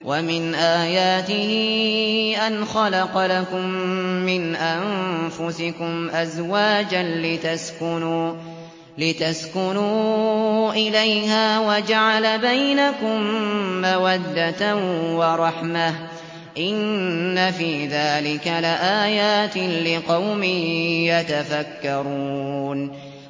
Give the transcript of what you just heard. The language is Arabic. وَمِنْ آيَاتِهِ أَنْ خَلَقَ لَكُم مِّنْ أَنفُسِكُمْ أَزْوَاجًا لِّتَسْكُنُوا إِلَيْهَا وَجَعَلَ بَيْنَكُم مَّوَدَّةً وَرَحْمَةً ۚ إِنَّ فِي ذَٰلِكَ لَآيَاتٍ لِّقَوْمٍ يَتَفَكَّرُونَ